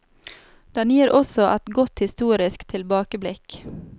Den gir også et godt historisk tilbakeblikk.